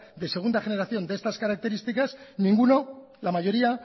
de segunda generación de estas características ninguno la mayoría